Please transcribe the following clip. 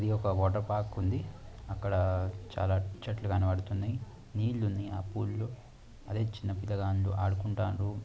యొక్క water park ఉంది. అక్కడ చాలా చెట్లు కనబడుతోంది. నీలుని అప్పుల్లో అదే చిన్నపిల్లగా ఆడుకుంటాను.